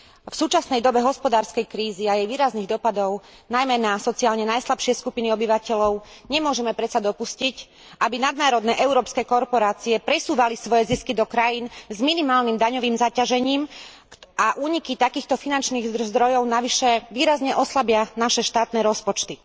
V súčasnej dobe hospodárskej krízy a jej výrazných dopadov, najmä na sociálne najslabšie skupiny obyvateľov nemôžeme predsa dopustiť, aby nadnárodné európske korporácie presúvali svoje zisky do krajín s minimálnym daňovým zaťažením a úniky takýchto finančných zdrojov navyše výrazne oslabia naše štátne rozpočty.